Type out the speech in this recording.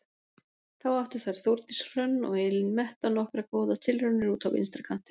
Þá áttu þær Þórdís Hrönn og Elín Metta nokkrar góðar tilraunir úti á vinstri kantinum.